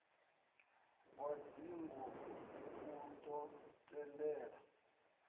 wa dzingu u ḓo tendela